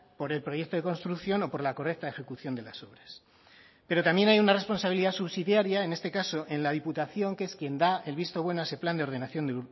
por el proyecto de construcción o por la correcta ejecución de las obras pero también hay una responsabilidad subsidiaria en este caso en la diputación que es quien da el visto bueno a ese plan de ordenación